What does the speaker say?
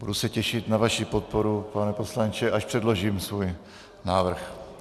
Budu se těšit na vaši podporu, pane poslanče, až předložím svůj návrh.